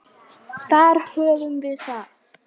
Þar höfum við það.